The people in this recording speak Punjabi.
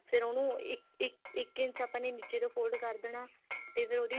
ਫੇਰ ਉਹਨੂੰ ਇੱਕ ਇੱਕ ਇੱਕ ਇੰਚ ਆਪਾਂ ਨੇ ਨੀਚੇ ਤੋਂ fold ਕਰ ਦੇਣਾ ਤੇ ਫਿਰ ਉਹਦੀ